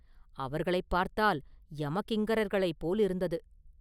அவர்களை பார்த்தால் யமகிங்கரர்களைப் போலிருந்தது.